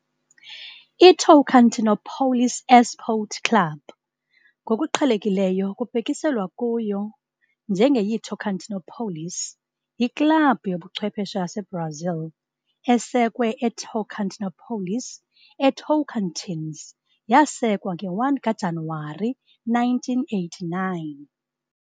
ITocantinópolis Esporte Clube, ngokuqhelekileyo kubhekiselwa kuyo njenge yiTocantinópolis, yiklabhu yobuchwephesha yaseBrazil esekwe eTocantinópolis, eTocantins yasekwa nge-1 kaJanuwari 1989.